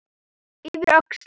Yfir öxlina.